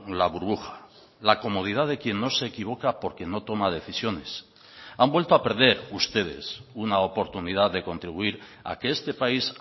la burbuja la comodidad de quien no se equivoca porque no toma decisiones han vuelto a perder ustedes una oportunidad de contribuir a que este país